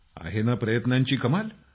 आहे नं प्रयत्नांची कमाल